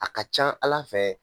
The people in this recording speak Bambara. A ka ca Ala fɛ